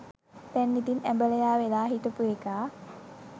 දැන් ඉතිං ඇඹලයා වෙලා හිටපු එකා